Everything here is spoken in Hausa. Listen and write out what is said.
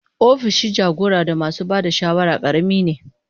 Opishin jagora da masu ba da shawara karami ne.